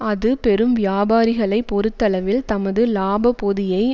அது பெரும் வியாபாரிகளைப் பொறுத்தளவில் தமது இலாபப் பொதியை